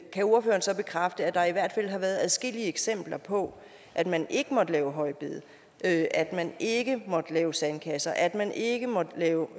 kan ordføreren så bekræfte at der i hvert fald har været adskillige eksempler på at man ikke måtte lave højbede at man ikke måtte lave sandkasser at man ikke måtte lave